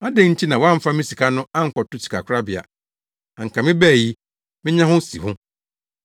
Adɛn nti na woamfa me sika no ankɔto sikakorabea? Anka mebae yi menya ho nsiho.’